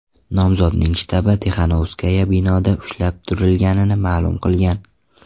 Nomzodning shtabi Tixanovskaya binoda ushlab turilganini ma’lum qilgan.